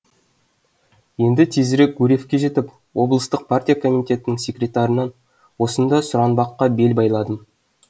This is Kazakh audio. енді тезірек гурьевке жетіп облыстық партия комитетінің секретарынан осында сұранбаққа бел байладым